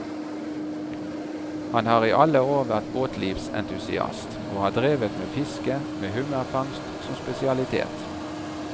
Han har i alle år vært båtlivsentusiast, og har drevet med fiske, med hummerfangst som spesialitet.